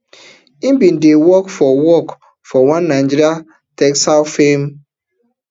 im bin dey work for work for one nigerian textiles firm